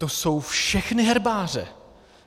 To jsou všechny herbáře!